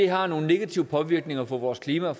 har nogle negative påvirkninger for vores klima og